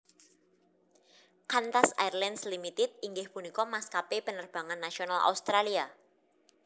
Qantas Airlines Limited inggih punika maskapé penerbangan nasional Australia